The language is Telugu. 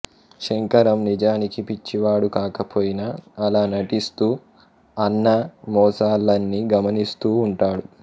శంకరం నిజానికి పిచ్చివాడు కాకపోయినా అలా నటిస్తూ అన్న మోసాలన్నీ గమనిస్తూ ఉంటాడు